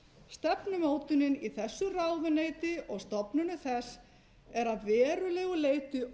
stefnumótunin í þessu ráðuneyti og stofnunum þess er að verulegu leyti